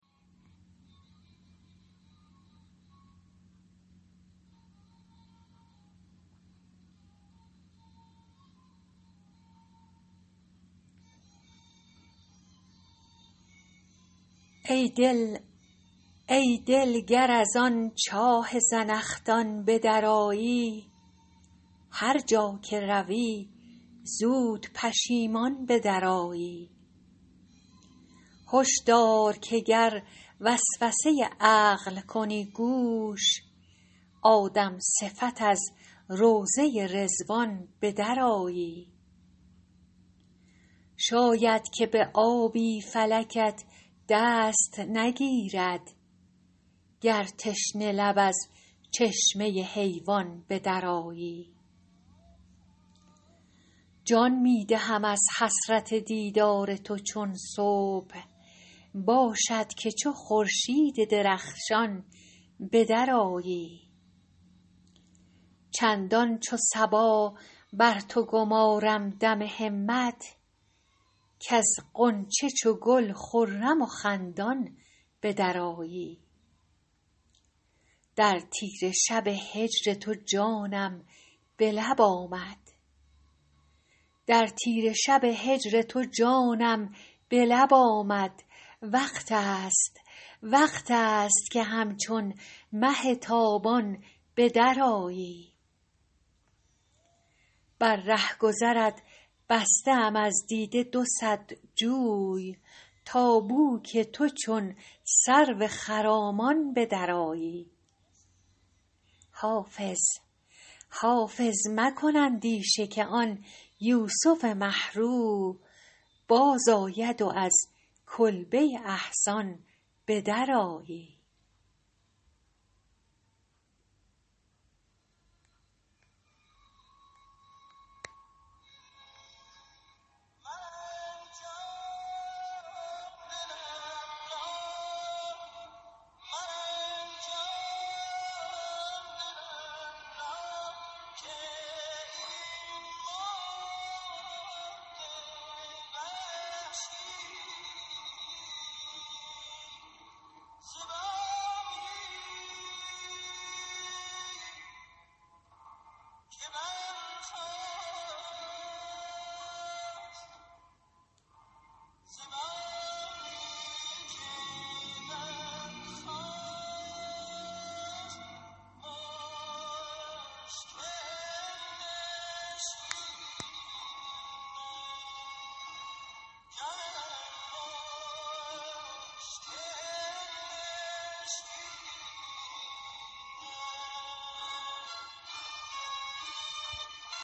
ای دل گر از آن چاه زنخدان به درآیی هر جا که روی زود پشیمان به درآیی هش دار که گر وسوسه عقل کنی گوش آدم صفت از روضه رضوان به درآیی شاید که به آبی فلکت دست نگیرد گر تشنه لب از چشمه حیوان به درآیی جان می دهم از حسرت دیدار تو چون صبح باشد که چو خورشید درخشان به درآیی چندان چو صبا بر تو گمارم دم همت کز غنچه چو گل خرم و خندان به درآیی در تیره شب هجر تو جانم به لب آمد وقت است که همچون مه تابان به درآیی بر رهگذرت بسته ام از دیده دو صد جوی تا بو که تو چون سرو خرامان به درآیی حافظ مکن اندیشه که آن یوسف مه رو بازآید و از کلبه احزان به درآیی